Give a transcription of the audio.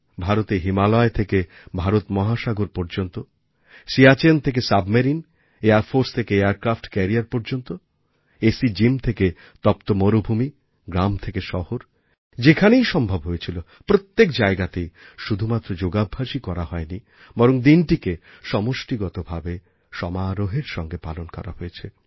ভারতে হিমালয় থেকে ভারত মহাসাগর পর্যন্ত সিয়াচেন থেকে সাবমেরিন এয়ার ফোর্স থেকে এয়ারক্র্যাফ্ট ক্যারিয়ার পর্যন্ত এসি জিম থেকে তপ্ত মরুভূমি গ্রাম থেকে শহর যেখানেই সম্ভব হয়েছিল প্রত্যেক জায়গাতেই শুধুমাত্র যোগাভ্যাসই করা হয়নি বরং দিনটিকে সমষ্টিগতভাবে সমারোহের সঙ্গে পালন করা হয়েছে